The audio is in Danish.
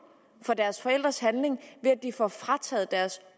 for deres forældres handling ved at de får frataget deres